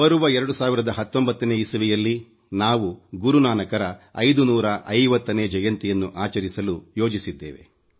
ಬರುವ 2019 ರಲ್ಲಿ ನಾವು ಗುರು ನಾನಕರ 550 ನೇ ಜಯಂತಿಯನ್ನು ಆಚರಿಸಲು ಯೋಜಿಸಿದ್ದೇವೆ